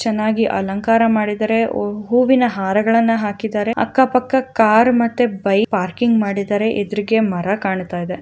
ಚೆನ್ನಾಗಿ ಅಲಂಕಾರ ಮಾಡಿದ್ದಾರೆ ಹೂ-ಹೂವಿನ ಹಾರಗಳನ್ನ ಹಾಕಿದ್ದಾರೆ ಅಕ್ಕಪಕ್ಕ ಕಾರ್ ಮತ್ತೆ ಬೈಕ್ ಪಾರ್ಕಿಂಗ್ ಮಾಡಿದ್ದಾರೆ ಎದರಿಗೆ ಮರ ಕಾಣ್ತಾ ಇದೆ.